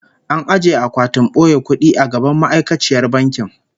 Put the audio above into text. An ajiye akwatin boye kudi a gaban ma'aikaciyar bankin